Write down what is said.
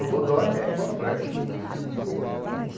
O bodoque é igual flecha. Ah.